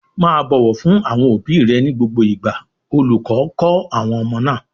"Má a bọ̀wọ̀ fún àwọn òbí rẹ ní gbogbo ìgbà!" Olùkọ́ kọ́ àwọn ọmọ náà.